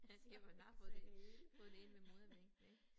Altså ja man har fået det fået det ind med modermælken ik